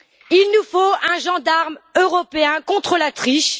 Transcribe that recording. Il nous faut un gendarme européen contre la triche.